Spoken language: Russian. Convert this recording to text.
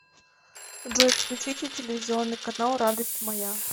джой включите телевизионный канал радость моя